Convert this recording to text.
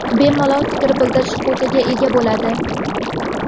bemalol fikr bildirish huquqiga ega bo‘ladi.